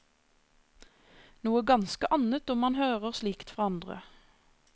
Noe ganske annet om han hører slikt fra andre.